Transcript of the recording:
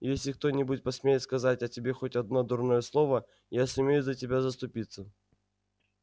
и если кто-нибудь посмеет сказать о тебе хоть одно дурное слово я сумею за тебя заступиться